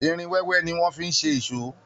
Irin wẹ́wẹ́ ni wọ́n fi ń ṣe èṣó